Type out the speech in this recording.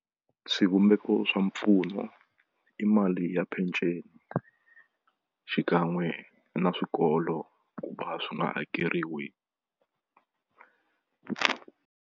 Swivumbeko swa mpfuno i mali ya peceni xikan'we na swikolo ku va swi nga hakeriwi.